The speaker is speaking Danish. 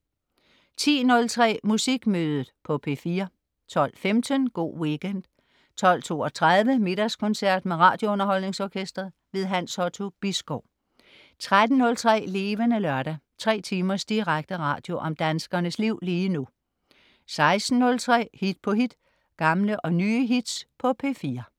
10.03 Musikmødet på P4 12.15 Go' Weekend 12.32 Middagskoncert med RadioUnderholdningsOrkestret. Hans Otto Bisgaard 13.03 Levende Lørdag. Tre timers direkte radio om danskernes liv lige nu 16.03 Hit på hit. Gamle og nye hits på P4